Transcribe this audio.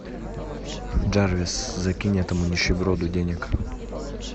дарвис закинь этому нищеброду денег